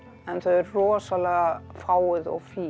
en þau eru rosalega fáguð og fín